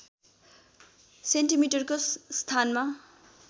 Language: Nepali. सेन्टिमिटरको स्थानमा